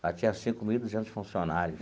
Ela tinha cinco mil e duzentos funcionários.